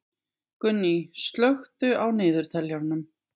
Gunný, slökktu á niðurteljaranum.